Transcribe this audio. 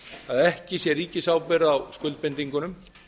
að ekki sé ríkisábyrgð á skuldbindingunum